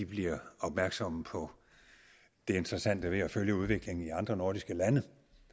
bliver opmærksomme på det interessante ved at følge udviklingen i andre nordiske lande